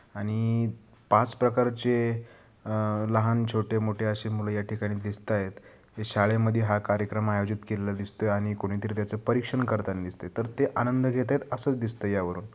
आणि पाच प्रकारचे अ लहान छोटे मोठे अशी मुल या ठिकाणी दिसतायत. हे शाळे मध्ये हा कार्यक्रम आयोजित केलेला दिसतोय आणि कुणीतरी त्याचा परीक्षण करताना दिसतय तर ते आनंद घेतायत असच दिसतय यावरून.